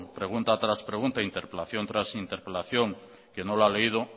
pregunta tras pregunta interpelación tras interpelación que no lo ha leído